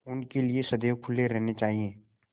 उनके लिए सदैव खुले रहने चाहिए